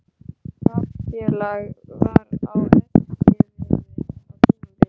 Taflfélag var á Eskifirði á tímabili.